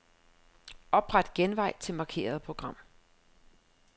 Opret genvej til markerede program.